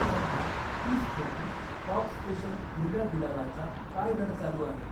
सध्या तीस खोकी कॉक स्पेशल हिरव्या गुलालाचा काय दर चालू आहे?